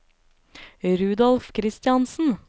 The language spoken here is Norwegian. Rudolf Kristiansen